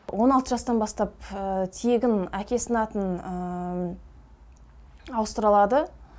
он алты жастан бастап тегін әкесінің атын ауыстыра алады